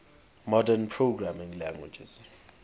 modern programming languages